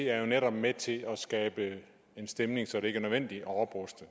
er jo netop med til at skabe en stemning så det ikke er nødvendigt at opruste